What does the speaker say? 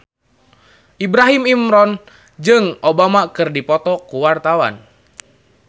Ibrahim Imran jeung Obama keur dipoto ku wartawan